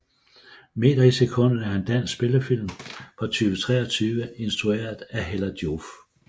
Meter i sekundet er en dansk spillefilm fra 2023 instrueret af Hella Joof